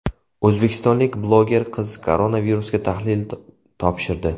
O‘zbekistonlik bloger qiz koronavirusga tahlil topshirdi.